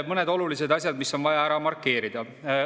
Mõned olulised asjad, mis on vaja ära markeerida.